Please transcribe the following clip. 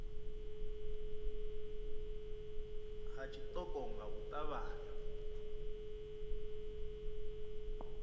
ha tshiṱoko nga u ṱavhanya